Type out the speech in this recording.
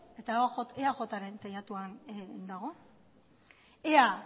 eta eajren teilatuan dago ea